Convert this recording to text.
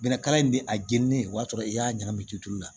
Bɛnɛkala in bɛ a jeni ne o y'a sɔrɔ i y'a ɲagami tutulu la